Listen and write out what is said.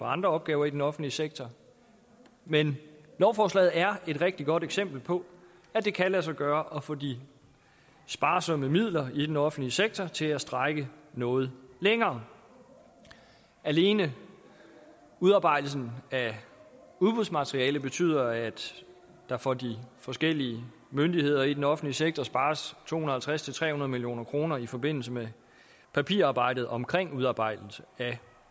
andre opgaver i den offentlige sektor men lovforslaget er et rigtig godt eksempel på at det kan lade sig gøre at få de sparsomme midler i den offentlige sektor til at strække noget længere alene udarbejdelsen af udbudsmateriale betyder at der for de forskellige myndigheder i den offentlige sektor spares to hundrede og halvtreds til tredive nul million kroner i forbindelse med papirarbejdet omkring udarbejdelse af